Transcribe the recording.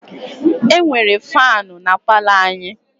E nwere faanụ na palọ anyị.